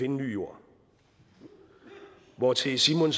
en ny jord hvortil simon